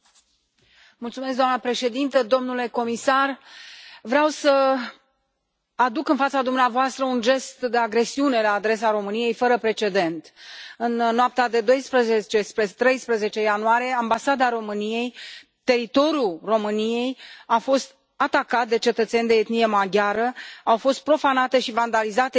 Doamnă președintă, domnule comisar, vreau să aduc în fața dumneavoastră un gest de agresiune fără precedent la adresa României. În noaptea de 12 spre 13 ianuarie, Ambasada României, teritoriu al României, a fost atacată de cetățeni de etnie maghiară, au fost profanate și vandalizate simbolurile,